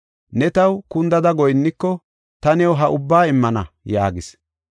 “Ne taw kundada goyinniko ta new ha ubbaa immana” yaagis.